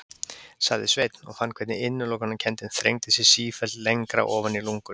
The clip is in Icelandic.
sagði Sveinn og fann hvernig innilokunarkenndin þrengdi sér sífellt lengra ofan í lungun.